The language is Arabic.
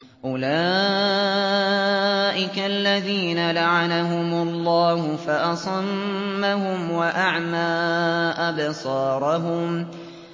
أُولَٰئِكَ الَّذِينَ لَعَنَهُمُ اللَّهُ فَأَصَمَّهُمْ وَأَعْمَىٰ أَبْصَارَهُمْ